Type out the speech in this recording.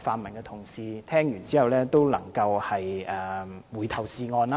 泛民的同事聽到之後能夠回頭是岸。